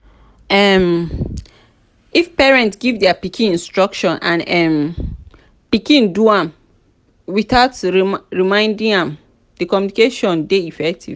um if parents give their pikin instruction and um pikin do am without reminding am di communication de effective